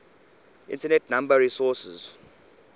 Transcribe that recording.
internet number resources